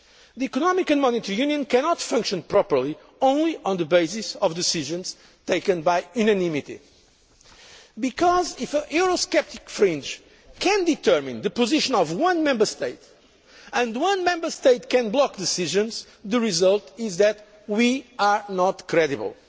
place. The Economic and Monetary Union cannot function properly only on the basis of decisions taken by unanimity, because if a Eurosceptic fringe can determine the position of one Member State and if one Member State can block decisions, the result is that we are not credible.